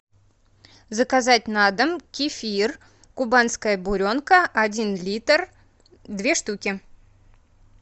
заказать на дом кефир кубанская буренка один литр две штуки